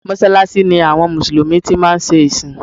Mọ́sàlàṣí ni àwọn Mùsùlùmí tí máa ń ṣe ìsìn